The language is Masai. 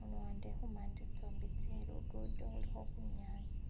aluwande tsimande tsosi tselugudo iliho bunyasi